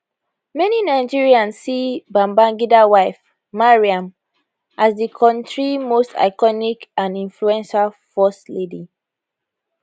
many nigerians see babangida wife maryam as di kontri most iconic and influential first lady